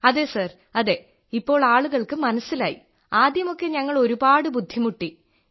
അതെ സർ അതെ ഇപ്പോൾ ആളുകൾക്ക് മനസ്സിലായി ആദ്യമൊക്കെ ഞങ്ങൾ ഒരുപാട് ബുദ്ധിമുട്ടി